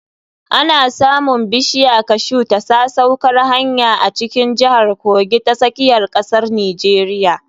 Ana samun bishiya kashu ta sasaukar hanya a cikin jihar Kogi ta tsakiyar ƙasar Nijeriya.